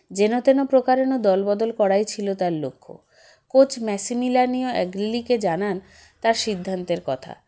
যেনতেন প্রকারেন দলবদল করাই ছিল তার লক্ষ্য coach ম্যাসি মিলানিও এগলিকে জানান তার সিদ্ধান্তের কথা